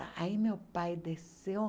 Ah aí meu pai desceu.